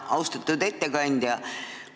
Austatud ettekandja!